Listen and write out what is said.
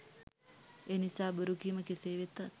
එනිසා බොරු කීම කෙසේ වෙතත්